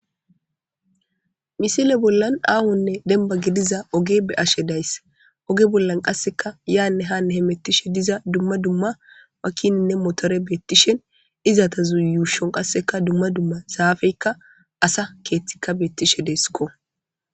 misile bollan aahonne demba gidiza oge be'ashe days, oge bollan qasseka yaanne hanne hemettishe diza dumma dumma wakininne motore beettishen izata zuyuushon qasseka dumma dumma saafeykka asa keeththikka beettishe deeskko